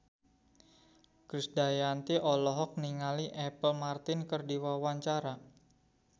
Krisdayanti olohok ningali Apple Martin keur diwawancara